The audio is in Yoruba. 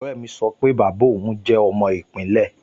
Ọ̀rẹ́ mi sọ pé bàbá òun tọ́ jẹ́ ọmọ ìpínlẹ̀